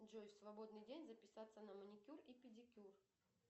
джой в свободный день записаться на маникюр и педикюр